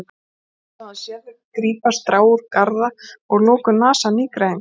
Svo hafði hann séð þau grípa strá úr garða og að lokum nasa af nýgræðingnum.